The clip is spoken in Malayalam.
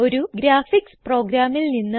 ഒരു ഗ്രാഫിക്സ് പ്രോഗ്രാമിൽ നിന്ന്